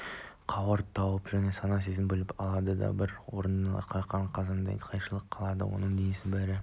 қауырт туып сана-сезімді билеп алады адам бір орнында қаққан қазықтай қалшиып қалады оның денесінің бәрі